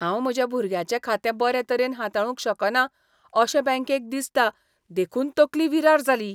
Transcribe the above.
हांव म्हज्या भुरग्याचें खातें बरे तरेन हाताळूंक शकना अशें बँकेक दिसता देखून तकली विरार जाली.